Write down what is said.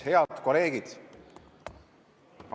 Head kolleegid!